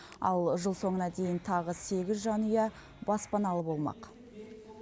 ал жыл соңына дейін тағы сегіз жанұя баспаналы болмақ